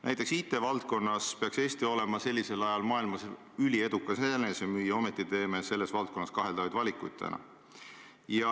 Näiteks, IT-valdkonnas peaks Eesti olema sellisel ajal maailmas üliedukas enesemüüja, ometi teeme selles valdkonnas kaheldavaid valikuid.